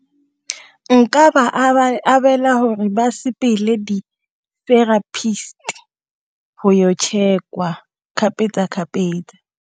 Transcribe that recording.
Nka ba abela hore ba sepele di therapist-i go yo check-wa kgapetsa-kgapetsa.